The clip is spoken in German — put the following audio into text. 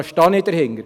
Dahinter stehe ich.